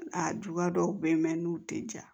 A juguya dɔw bɛ yen mɛ n'u tɛ ja